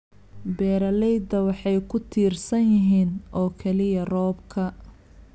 Beeraleydu waxay ku tiirsan yihiin oo kaliya roobka.